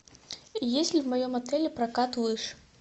есть ли в моем отеле прокат лыж